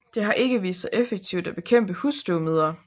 Det har ikke vist sig effektivt at bekæmpe husstøvmider